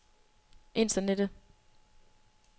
internettet